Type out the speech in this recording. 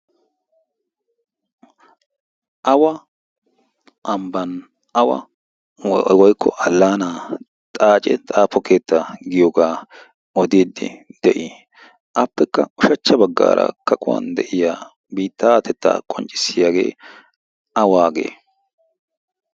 awa ambban awa woikko allaanaa xaace xaafo keetta giyoogaa odiiddi de'i appekka ushachcha baggaara kaquwan de'iya biitta atettaa qonccissiyaagee a waagee?